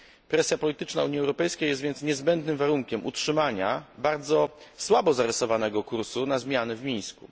Presja polityczna Unii Europejskiej jest więc niezbędnym warunkiem utrzymania bardzo słabo zarysowanego kursu na zmiany w Mińsku.